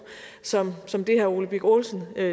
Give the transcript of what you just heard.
som som det herre ole birk olesen